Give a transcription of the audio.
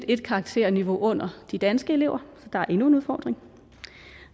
ét karakterniveau under de danske elever der er endnu en udfordring